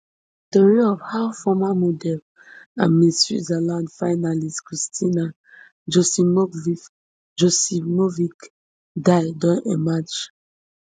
tori of how former model and miss switzerland finalist kristina joksimovic joksimovic die don emerge